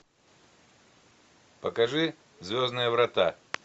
покажи звездные врата